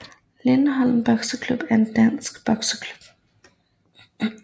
Lindholm Bokseklub er en dansk bokseklub